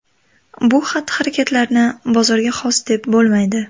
Bu xatti-harakatlarni bozorga xos deb bo‘lmaydi.